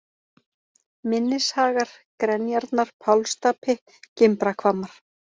Mynnishagar, Grenjarnar, Pálsstapi, Gimbrahvammar